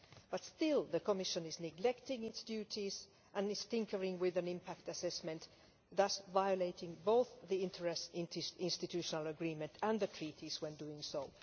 But still the Commission is neglecting its duties and is tinkering with an impact assessment, thus violating both the inter institutional agreement and the treaties when doing so.